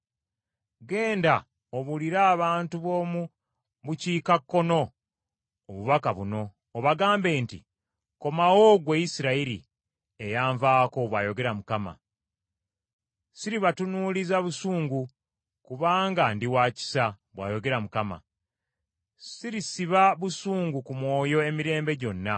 Genda obuulire abantu b’omu bukiikakkono obubaka buno, obagambe nti, “ ‘Komawo ggwe Isirayiri, eyanvaako,’ bw’ayogera Mukama . ‘Siribatunuuliza busungu kubanga ndi waakisa,’ bw’ayogera Mukama ; ‘Sirisiba busungu ku mwoyo emirembe gyonna.